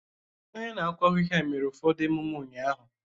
Onye na-akụ ahịhịa mere ụfọdụ emume ụnyahụ.